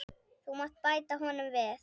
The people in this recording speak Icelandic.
Þú mátt bæta honum við.